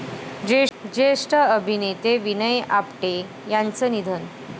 ज्येष्ठ अभिनेते विनय आपटे यांचं निधन